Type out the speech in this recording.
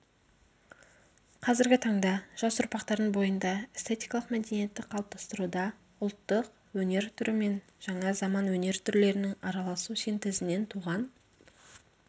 қазіргі таңда жас ұрпақтардың бойында эстетикалық мәдениетті қалыптастыруда ұлттық өнер түрімен жаңа заман өнер түрлерінің араласу синтезінен туған